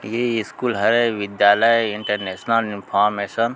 ये स्कूल है विद्यालय इंटरनेशनल इनफार्मेशन --